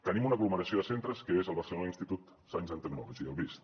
tenim una aglomeració de centres que és el barcelona institut of science and technology el bist